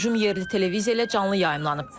Hücum yerli televiziya ilə canlı yayımlanıb.